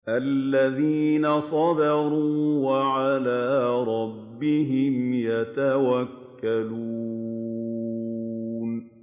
الَّذِينَ صَبَرُوا وَعَلَىٰ رَبِّهِمْ يَتَوَكَّلُونَ